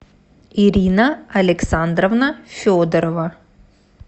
ирина александровна федорова